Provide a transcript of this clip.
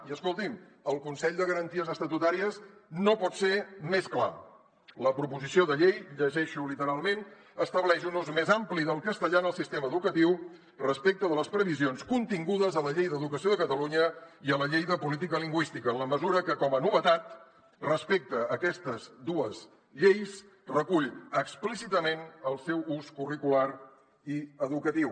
i escoltin el consell de garanties estatutàries no pot ser més clar la proposició de llei llegeixo literalment estableix un ús més ampli del castellà en el sistema educatiu respecte de les previsions contingudes a la llei d’educació de catalunya i a la llei de política lingüística en la mesura que com a novetat respecte a aquestes dues lleis recull explícitament el seu ús curricular i educatiu